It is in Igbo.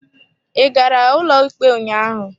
Ị gara ụlọikpe ụnyaahụ?